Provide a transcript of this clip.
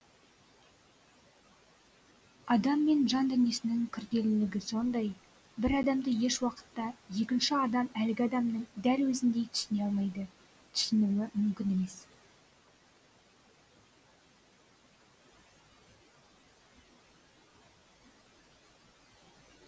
адам мен жан дүниесінің күрделілігі сондай бір адамды еш уақытта екінші адам әлгі адамның дәл өзіндей түсіне алмайды түсінуі мүмкін емес